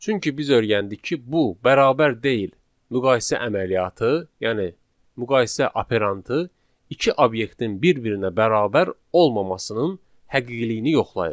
Çünki biz öyrəndik ki, bu bərabər deyil müqayisə əməliyyatı, yəni müqayisə operandı iki obyektin bir-birinə bərabər olmamasının həqiqiliyini yoxlayır.